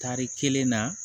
Tari kelen na